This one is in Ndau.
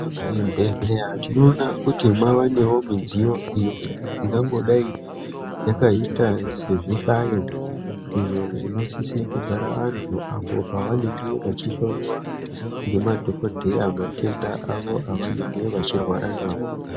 Muzvibhedhleya tinoona kuti maanewo midziyo iyo ingangodai yakaita sezvihlayo, izvo zvinosise kugara antu apo pavanenge vechihloyiwa ngemadhokodheya matenda avo evanenge vechirwara nawo.